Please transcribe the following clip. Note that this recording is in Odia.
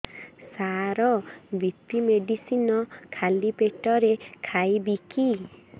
ସାର ବି.ପି ମେଡିସିନ ଖାଲି ପେଟରେ ଖାଇବି କି